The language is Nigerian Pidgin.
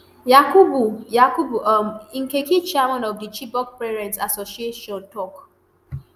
yakubu yakubu um nkeki chairman of di chibok parents association tok